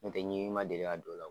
Nɔtɛ ɲimi ma deli ka don o law.